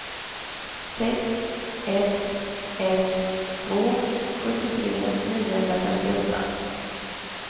sex ett ett två sjuttiotre niohundrafemtioåtta